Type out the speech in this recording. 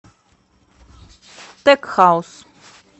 тек хаус